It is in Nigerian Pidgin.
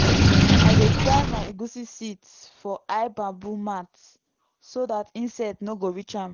i dey dry my egusi seeds for high bamboo mat so that insects no go reach am.